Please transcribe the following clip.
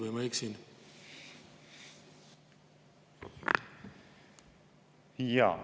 Või ma eksin?